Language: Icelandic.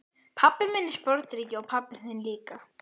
Pabbi minn er sporðdreki og pabbi þinn líka.